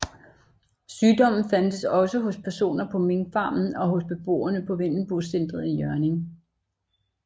Sygdommen fandtes også hos personer på minkfarmen og hos beboere på Vendelbocentret i Hjørring